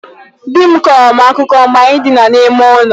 Dị m kọọrọ m akụkọ mgbe anyị dina n'ime ụlọ.